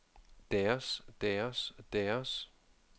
deres deres deres